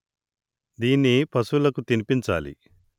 దీన్ని పశువులకు తిని పించాలి